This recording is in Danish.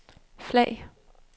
flag